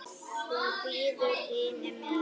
Hún bíður hinum megin.